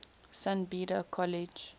san beda college